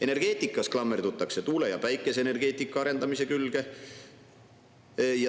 Energeetikas klammerdutakse tuule‑ ja päikeseenergeetika arendamise külge.